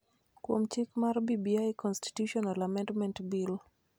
kuom chik mar BBI Constitutional Amendment Bill.